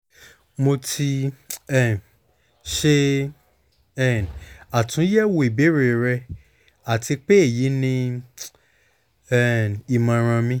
mo ti um ṣe um atunyẹwo ibeere rẹ ati pe eyi ni um imọran mi